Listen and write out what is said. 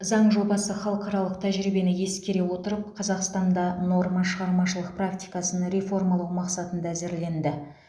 заң жобасы халықаралық тәжірибені ескере отырып қазақстанда нормашығармашылық практикасын реформалау мақсатында әзірленді